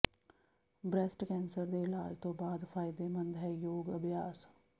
breast cancer ਦੇ ਇਲਾਜ ਤੋਂ ਬਾਅਦ ਫਾਇਦੇਮੰਦ ਹੈ ਯੋਗ ਅਭਿਆਸ